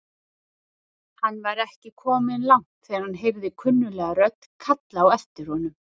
Hann var ekki kominn langt þegar hann heyrði kunnuglega rödd kalla á aftir honum.